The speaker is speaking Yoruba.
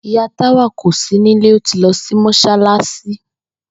Ìyá Táwà kò sí nílé, ó ti lo̩ sí mós̩álás̩i